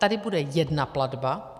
Tady bude jedna platba.